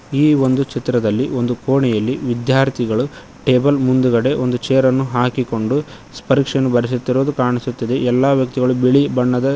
ಈ ಒಂದು ಚಿತ್ರದಲ್ಲಿ ಒಂದು ಕೋಣೆಯಲ್ಲಿ ವಿದ್ಯಾರ್ಥಿಗಳು ಟೇಬಲ್ ಮುಂದ್ಗಡೆ ಒಂದು ಚೇರನ್ನು ಹಾಕಿಕೊಂಡು ಪರೀಕ್ಷೆಯನ್ನು ಬರಿಸುತ್ತಿರುವುದು ಕಾಣಿಸುತ್ತದೆ ಎಲ್ಲಾ ವ್ಯಕ್ತಿಗಳು ಬಿಳಿ ಬಣ್ಣದ--